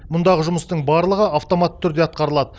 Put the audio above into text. мұндағы жұмыстың барлығы автоматты түрде атқарылады